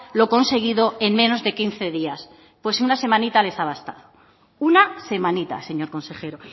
lo conseguido en menos de quince días pues una semanita les ha bastado una semanita señor consejero